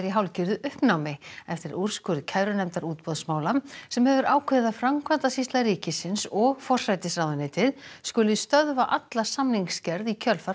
hálfgerðu uppnámi eftir úrskurð kærunefndar útboðsmála sem hefur ákveðið að Framkvæmdasýsla ríkisins og forsætisráðuneytið skuli stöðva alla samningsgerð í kjölfar